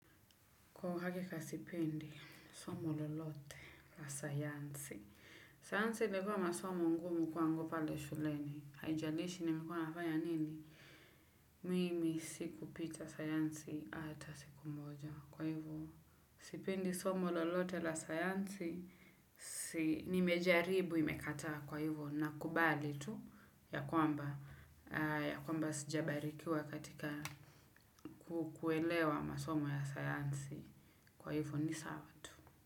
Kwa uhakika sipindi, somo lolote la sayansi. Sayansi ilikuwa masomo ngumu kwangu pale shuleni. Haijalishi nimekua nafanya nini. Mimi siku pita sayansi ata siku moja. Kwa hivo, sipendi somo lolote la sayansi, nimejaribu imekata kwa hivu, na kubali tu ya kwamba, ya kwamba sijabarikiwa katika kukuelewa masomo ya sayansi. Kwa hivyo ni sawa tu.